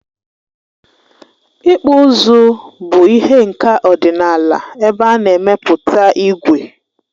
Ịkpụ ụzụ bụ ihe nka ọdịnala ebe a na-emepụta ígwè.